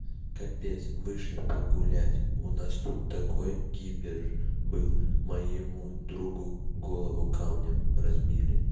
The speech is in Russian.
капец вышли погулять у нас тут такой кипеш был моему другу голову камнем разбили